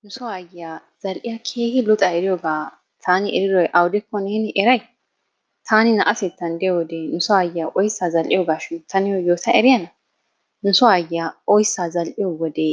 Nu soo aayyiya zal"iya keehi luxa eriyooga taan eridooy awudekko neeni eray? Taani naa'atettan diyoode nu so aayyiya oyssa zal"iyoogashin ta niyo yooya eriyaana ? Nu soo aayyiya oyssa zal"iyoode